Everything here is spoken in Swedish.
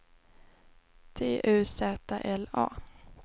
T U Z L A